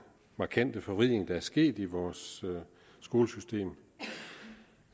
markante forvridning der er sket i vores skolesystem